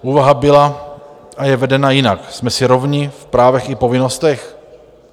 Úvaha byla a je vedena jinak: Jsme si rovni v právech i povinnostech?